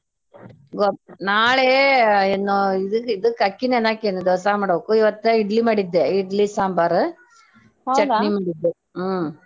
ನಾಳೆ ನಾ ಇದಕ್ಕ ಇದಕ್ಕ ಅಕ್ಕಿ ನೆನಿ ಹಾಕೇನ ಇವತ್ತ ಇಡ್ಲಿ ಮಾಡಿದ್ದೆಇಡ್ಲಿ ಸಾಂಬಾರ ಚಟ್ನಿ ಮಾಡಿದ್ದೆ ಹ್ಮ್.